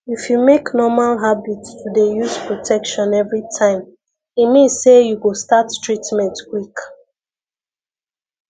if you make normal habit to dey use protection everytime e mean say you go start treatment quick